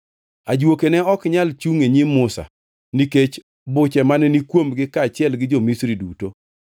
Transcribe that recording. Ajuoke ne ok nyal chungʼ e nyim Musa nikech buche mane ni kuomgi kaachiel gi jo-Misri duto.